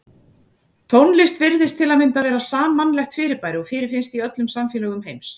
Tónlist virðist til að mynda vera sammannlegt fyrirbæri og fyrirfinnst í öllum samfélögum heims.